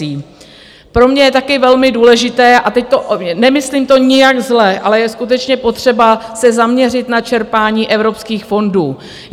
Pro mě je také velmi důležité, a teď to nemyslím nijak zle, ale je skutečně potřeba se zaměřit na čerpání evropských fondů.